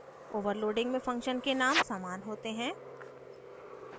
overloading में function के name समान होते हैं